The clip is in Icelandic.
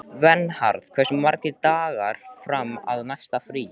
Vernharð, hversu margir dagar fram að næsta fríi?